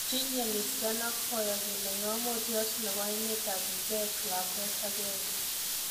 Tinye MirzKhan ak boyotnyi ne ng'amotiot nebo emet ab Czech lakwet agenge